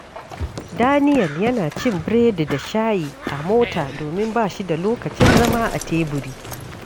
Daniel yana cin biredi da shayi a mota domin ba shi da lokacin zama a teburi.